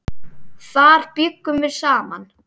Þar bjuggum við saman.